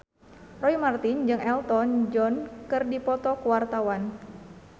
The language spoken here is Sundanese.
Roy Marten jeung Elton John keur dipoto ku wartawan